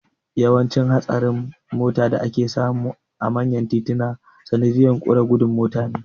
Yawancin hatsarin mota da ake samu a manyan tituna sanadiyan ƙure gudun mota ne